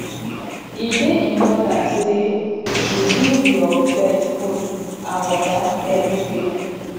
e dey important sey you give your pet food and water everyday